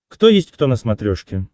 кто есть кто на смотрешке